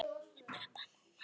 Fyrstu kynni af silungi